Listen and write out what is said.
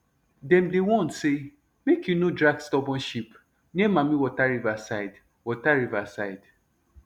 dem dey warn say make you no drag stubborn sheep near mammie water river side water river side